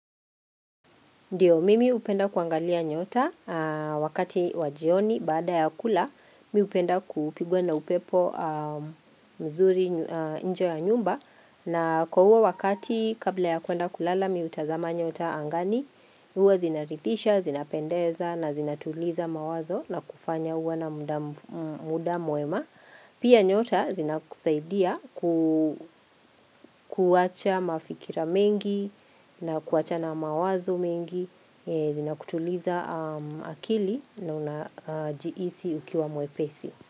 Ndiyo mimi hupenda kuangalia nyota wakati wa jioni baada ya kula mi hupenda kupigwa na upepo nzuri. Nje ya nyumba na, kwa huo wakati kabla ya kuenda kulala, mimi hutazama nyota angani huwa zinaridhisha, zinapendeza na zinatuliza mawazo na kufanya uwe na muda mwema. Pia nyota zinakusaidia kuwacha mafikira mengi na kuwacha na mawazo mengi, zinakutuliza akili na unajihisi ukiwa mwepesi.